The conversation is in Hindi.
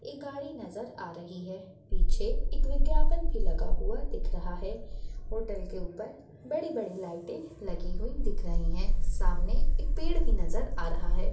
एक गाड़ी नजर आ रही है पीछे एक विज्ञापन भी लगा हुआ दिख रहा है होटल के ऊपर बड़ी-बड़ी लाइटें लगी हुई दिख रही है सामने एक पेड़ भी नजर आ रहा है।